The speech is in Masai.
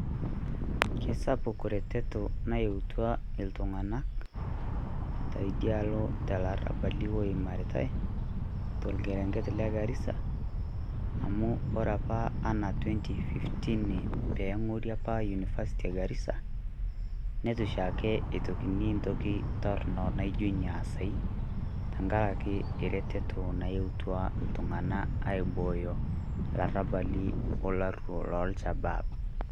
Kesapuk oreteto nayautua iltung'anak teidia alo te larabali oimaritai to olkereng'et le Garisa amu ore apa anaa 2015, pee eng'ori apa university e Garisa, nitu shaake itokini entoki torono naijo ina aasa tenkaraki eretoto nayautua iltung'anak aibooyo ilarabali olaruok loolshabaab.